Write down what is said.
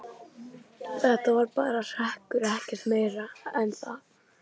Þetta var bara hrekkur, ekkert meira en það.